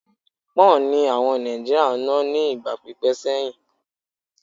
Pọ́ǹ ni àwọn ará Nàìjíríà ń ná ní ìgbà pípẹ́ sẹ́yìn.